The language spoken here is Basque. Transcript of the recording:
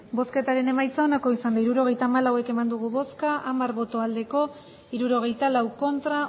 hirurogeita hamalau eman dugu bozka hamar bai hirurogeita lau ez